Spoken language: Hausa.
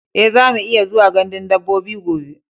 E, zamu iya zuwa gandun dabbobi gobe.